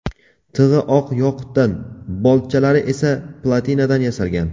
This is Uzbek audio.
Tig‘i oq yoqutdan, boltchalari esa platinadan yasalgan.